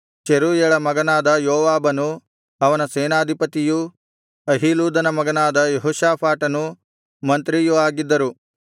ಚೆರೂಯಳ ಮಗನಾದ ಯೋವಾಬನು ಅವನ ಸೇನಾಧಿಪತಿಯೂ ಅಹೀಲೂದನ ಮಗನಾದ ಯೆಹೋಷಾಫಾಟನು ಮಂತ್ರಿಯೂ ಆಗಿದ್ದರು